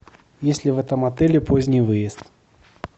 есть ли в этом отеле поздний выезд